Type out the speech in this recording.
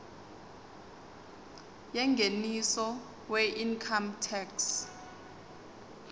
yengeniso weincome tax